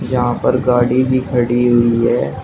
यहां पर गाड़ी भी खड़ी हुई है।